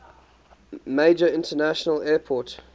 major international airport